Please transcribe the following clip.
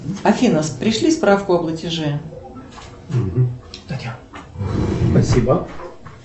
афина пришли справку о платеже